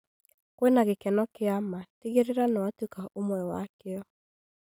Kwĩna gĩkeno kĩa ma, tigĩrĩra nĩ wa tuĩka ũmwe wa kĩo